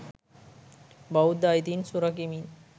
බෞද්ධ අයිතීන් සුරකිමින්